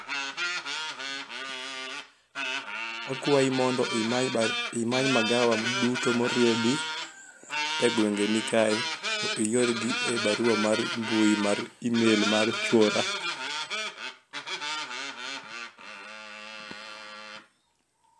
akwayi mondo imany magawa duto moriedi e gweng' ni kae to iorgi e barua mar mbui mar email mar chuora